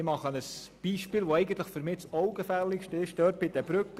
Ich gebe ein Beispiel, anhand dessen man dies am augenfälligsten sieht: